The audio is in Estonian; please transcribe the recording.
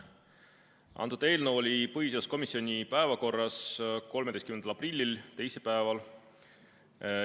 Antud eelnõu oli põhiseaduskomisjoni päevakorras 13. aprillil, teisipäeval.